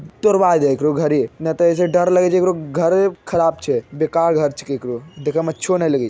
तोरबा दे एकरो घरे ने ते ए से डर लगे छै एकरो घरे खराब छै बेकार घर छिये एकरो देखे में अच्छो ने लगे --